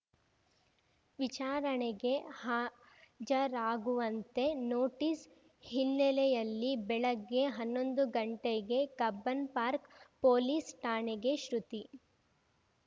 ವಿಚಾರಣೆಗೆ ಹಾಜರಾಗುವಂತೆ ನೋಟಿಸ್‌ ಹಿನ್ನೆಲೆಯಲ್ಲಿ ಬೆಳಗ್ಗೆ ಹನ್ನೊಂದುಗಂಟೆಗೆ ಕಬ್ಬನ್‌ಪಾರ್ಕ್ ಪೊಲೀಸ್‌ ಠಾಣೆಗೆ ಶ್ರುತಿ